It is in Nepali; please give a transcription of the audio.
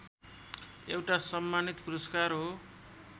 एउटा सम्मानित पुरस्कार हो